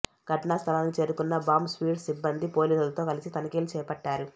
ఘటనా స్థలానికి చేరుకున్న బాంబ్ స్వాడ్ సిబ్బంది పోలీసులతో కలిసి తనిఖీలు చేపట్టారు